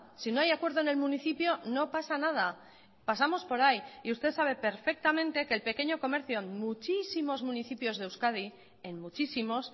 si no hay acuerdo en el municipio no pasa nada pasamos por ahí y usted sabe perfectamente que el pequeño comercio en muchísimos municipios de euskadi en muchísimos